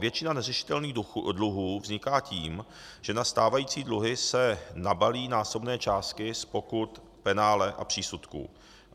Většina neřešitelných dluhů vzniká tím, že na stávající dluhy se nabalí násobné částky z pokut, penále a přísudků.